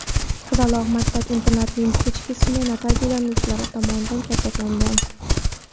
qizaloq maktab-internatining kechki smena tarbiyalanuvchilari tomonidan kaltaklangan.